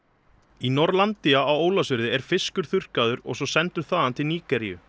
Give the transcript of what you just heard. í Norlandia á Ólafsfirði er fiskur þurrkaður og svo sendur þaðan til Nígeríu